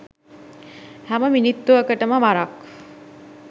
හැම මිනිත්තුකටම වරක්